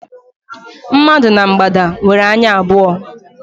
Mmadụ na mgbada nwere anya abụọ.